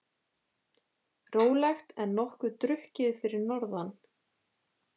Rólegt en nokkuð drukkið fyrir norðan